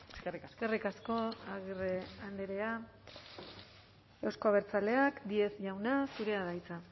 eskerrik asko eskerrik asko agirre andrea euzko abertzaleak díez jauna zurea da hitza